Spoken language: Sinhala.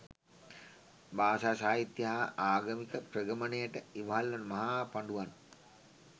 භාෂා සාහිත්‍ය හා ආගමික ප්‍රගමනයට ඉවහල්වන මහා පඬුවන්